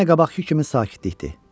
Yenə qabaqkı kimi sakitlikdir.